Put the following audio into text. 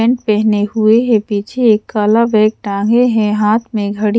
pant पेहने हुए है पीछे एक काला बैग टांगे है हाथ में घड़ी--